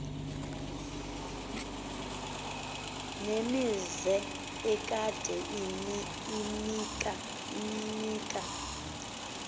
nemizi ekade imka